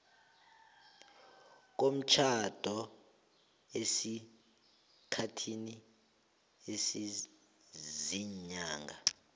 komtjhado esikhathini esiziinyanga